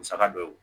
Musaka dɔ ye